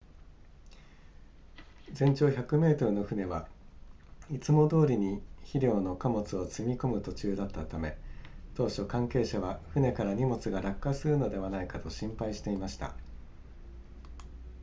全長100メートルの船はいつもどおりに肥料の貨物を積み込む途中だったため当初関係者は船から荷物が落下するのではないかと心配していました